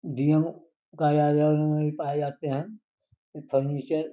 D M कार्यालय में भी पाए जाते हैं फर्नीचर --